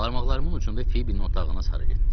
Barmaqlarımın ucunda Fibinin otağına sarı getdim.